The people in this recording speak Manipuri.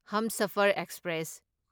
ꯍꯨꯝꯁꯥꯐꯔ ꯑꯦꯛꯁꯄ꯭ꯔꯦꯁ